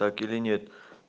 так или нет